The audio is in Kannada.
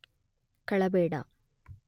ಕಳಬೇಡ